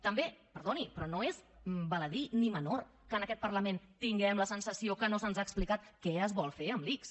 també perdoni però no és baladí ni menor que en aquest parlament tinguem la sensació que no se’ns ha explicat què es vol fer amb l’ics